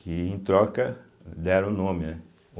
que, em troca, deram o nome, né?